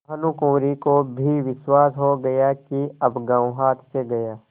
भानुकुँवरि को भी विश्वास हो गया कि अब गॉँव हाथ से गया